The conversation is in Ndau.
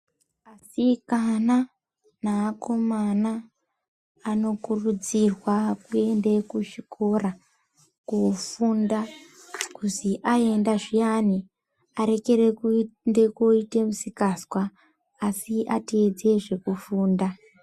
Asikana neakomana anokurudzirwa kuende kuzvikora kofunda kuzi aenda zviyani arekere koende koite misikazwa asi ateedze zvekufunda .